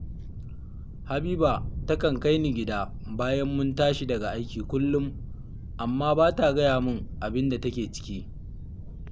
Habiba takan kai ni gida bayan mun tashi daga aiki kullum, amma ba ta gaya min abin da take ciki